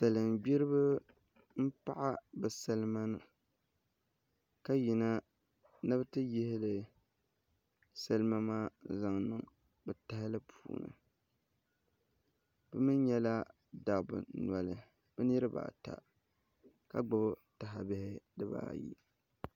Salin gbiribi n paɣa bi salima ka yina ni bi yi yihili salima maa zaŋ niŋ bi tahali puuni bi mii nyɛla dabba noli bi niraba ata ka gbubi tahabihi dibaayi